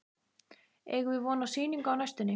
Eigum við von á sýningu á næstunni?